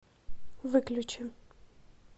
выключи